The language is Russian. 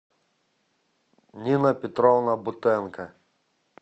нина петровна бутенко